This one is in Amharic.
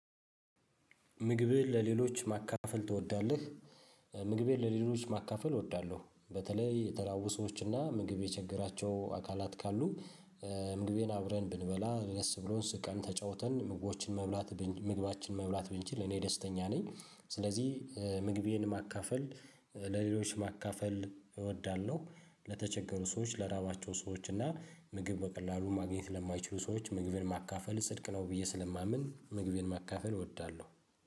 ምግብህን ለሌሎች ማካፈል ትወዳለህ? ምግቤን ለሌሎች ማካፈል እወዳለሁ። በተለይ የተራቡ ሰዎች አና ምግብ የቸገራቸው አካላት ካሉ ምግቤን አብረን ብንበላ ደስ ብሎን ስቀን ተጫውተን ምጎችን መብላት ምግባችን መብላት ብንችል እኔ ደስተኛ ነኝ። ስለዚህ ምግቤን ማካፈል ለሌሎች ማካፈል እወዳለሁ። ለተቸገሩ ሰዎች ለራባቸው ሰዎች እና ምግብ በቀላሉ ማግኘት ስለማይችሉ ሰዎች ምግቤን ማካፈል ጽድቅ ነው ብዬ ስለማምን ምግቤን ማካፈል እወዳለሁ።